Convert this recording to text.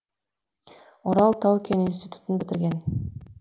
орал тау кен институтын бітірген